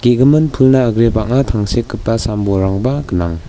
ge·gimin pulna agre bang·a tangsekgipa sam-bolrangba gnang.